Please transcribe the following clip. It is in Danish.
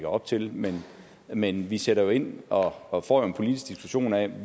op til men men vi sætter ind og og får en politisk diskussion af